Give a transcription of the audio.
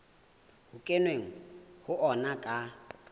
ho kenweng ho ona ka